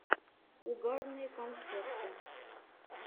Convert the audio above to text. угарные концерты